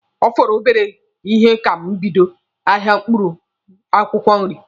Ọ fọrọ obere ihe ka m bido ahịa akwụkwọ nri.